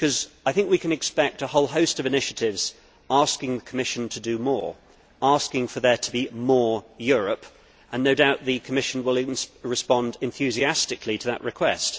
I think we can expect a whole host of initiatives asking the Commission to do more, asking for there to be more Europe, and no doubt the Commission will respond enthusiastically to that request.